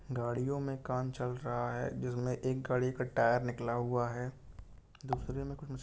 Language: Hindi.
गाड़ियों में काम चल रहा है जिसमे एक गाडी का टायर निकला हुआ है। दूसरे में --